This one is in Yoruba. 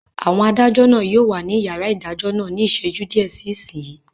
Àwọn adájọ́ náà yóò wà ní yàrá ìdájọ́ náà ní ìṣẹ́jú díẹ̀ sí ìsinyìí